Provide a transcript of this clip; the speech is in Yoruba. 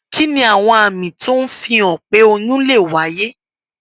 kí ni àwọn àmì tó ń fihàn pé oyún lè wáyé